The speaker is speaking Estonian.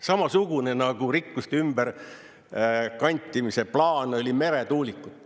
Samasugune rikkuste ümberkantimise plaan nagu oli meretuulikud.